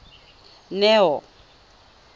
neo